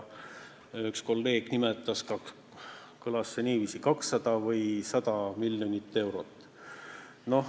Üks kolleeg nimetas, et seda oli 200 või 100 miljonit eurot.